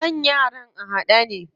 Kan yaran a haɗe ne.